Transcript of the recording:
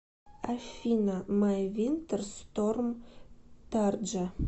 афина май винтер сторм тарджа